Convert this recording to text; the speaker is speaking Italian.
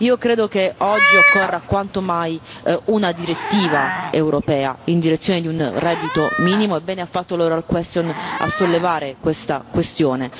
Io credo che oggi occorra quanto mai una direttiva europea in direzione di un reddito minimo, e bene ha fatto l'interrogazione orale a sollevare questa questione.